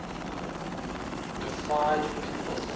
deified people